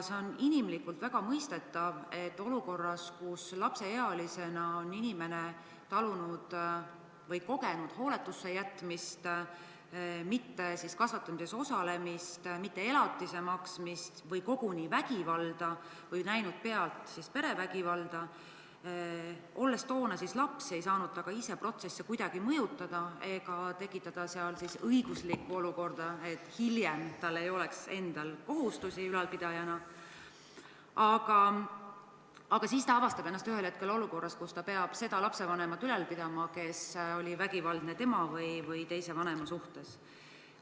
See on inimlikult väga mõistetav, et on väga suur ebaõiglus, kui inimene on lapseealisena kogenud hooletusse jätmist, tema kasvatamises ei osaletud, elatist ei ole makstud või on ta toona kogenud koguni vägivalda või näinud pealt perevägivalda – ta ei ole ise kuidagi saanud protsesse mõjutada ega tekitada mingit sellist õiguslikku seisu, et tal hiljem ei oleks endal ülalpidajana kohustusi –, aga siis avastab ta ennast ühel hetkel olukorrast, kus ta peab ülal pidama oma vanemat, kes oli vägivaldne tema või teise lapsevanema suhtes.